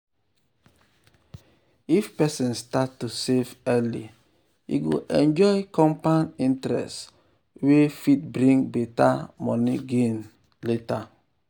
if person start to save early e go enjoy compound interest wey um fit bring better um money gain um later.